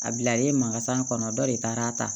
A bilalen mankasan kɔnɔ dɔ de taara a ta